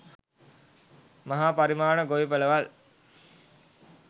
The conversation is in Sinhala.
මහා පරිමාණ ගොවිපළවල්